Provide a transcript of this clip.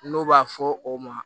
N'o b'a fɔ o ma